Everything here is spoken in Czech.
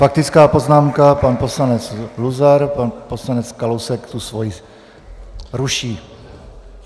Faktická poznámka, pan poslanec Luzar, pan poslanec Kalousek tu svoji ruší.